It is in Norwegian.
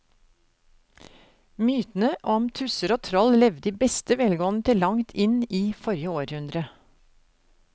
Mytene om tusser og troll levde i beste velgående til langt inn i forrige århundre.